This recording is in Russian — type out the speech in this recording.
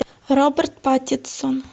роберт паттинсон